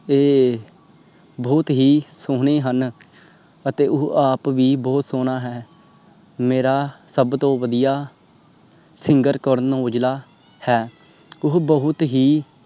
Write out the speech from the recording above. ਤੇ ਬਹੁਤ ਸੋਹਣੇ ਹੀ ਹਨ ਅਤੇ ਉਹ ਆਪ ਵੀ ਬਹੁਤ ਸੋਹਣਾ ਹੈ। ਮੇਰਾ ਸਬ ਤੋਂ ਵਦੀਆ SINGER ਕਰਨ ਔਜਲਾ ਹੈ। ਉਹ ਬਹੁਤ ਹੀ।